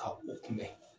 Ka u kunbɛn